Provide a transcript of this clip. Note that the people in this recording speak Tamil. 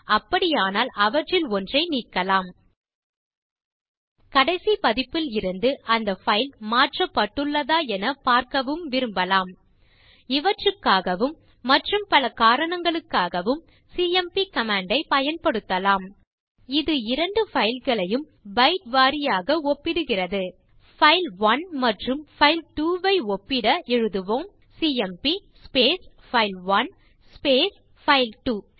அப்படியானால் அவற்றில் ஒன்றை நீக்கலாம் கடைசி பதிப்பில் இருந்து அந்த பைல் மாற்றப்படுள்ளதா என பார்க்கவும் விரும்பலாம் இவற்றுக்காகவும் மற்றும் பல காரணங்களுக்காகவும் சிஎம்பி கமாண்ட் ஐப் பயன்படுத்தலாம் இது இரண்டு பைல் களையும் பைட் வாரியாக ஒப்பிடுகிறது பைல்1 மற்றும் பைல்2 ஐ ஒப்பிட எழுதுவோம் சிஎம்பி பைல்1 பைல்2